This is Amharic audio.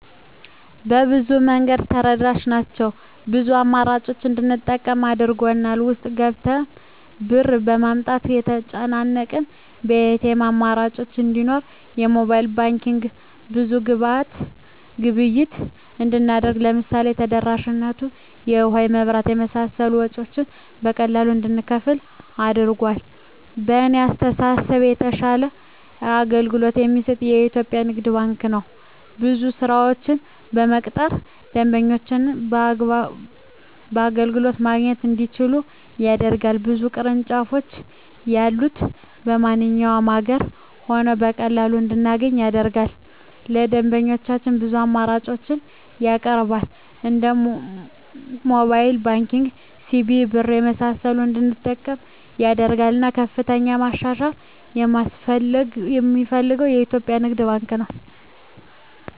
በብዙ መንገድ ተደራሽ ናቸው ብዙ አማራጮችን እንድንጠቀም አድርጎል። ውስጥ ገብተን ብር ለማውጣት ከተጨናነቀ የኤቲኤም አማራጮች እንዲኖር የሞባይል ባንኪንግ ብዙ ግብይት እንድናደርግ ለምሳሌ ተደራሽነቱ የውሀ, የመብራት የመሳሰሉ ወጭወችን በቀላሉ እንድንከፍል አድርጓል። በእኔ አስተሳሰብ የተሻለ አገልግሎት የሚሰጥ የኢትዪጵያ ንግድ ባንክ ነው። ብዙ ሰራተኞችን በመቅጠር ደንበኞች አገልግሎት ማግኘት እንዲችሉ ያደርጋል። ብዙ ቅርንጫፎች ያሉት በማንኛውም አገር ሆነን በቀላሉ እንድናገኝ ያደርጋል። ለደንበኞች ብዙ አማራጮችን ያቀርባል እንደ ሞባይል ባንኪንግ, ሲቢኢ ብር , የመሳሰሉትን እንድንጠቀም ያደርጋል። እናም ከፍተኛ ማሻሻያ የማስፈልገው የኢትዮጵያ ንግድ ባንክ ነው።